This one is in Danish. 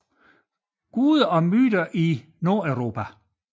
Gods and Myths of Northern Europe